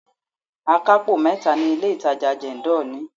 Akapo mẹ́ta ni ilé itàjà Jendol ní.